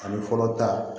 Ani fɔlɔ ta